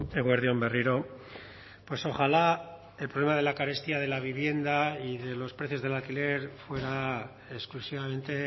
eguerdi on berriro pues ojalá el problema de la carestía de la vivienda y de los precios del alquiler fuera exclusivamente